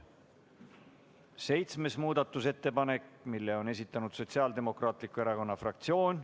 Seitsmenda muudatusettepaneku on esitanud Sotsiaaldemokraatliku Erakonna fraktsioon.